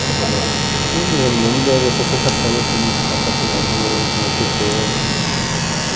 Ela chegou a... Não, mas eu me lembro de essa sensação, assim, de ficar fascinado com uma com uma pessoa eh, uma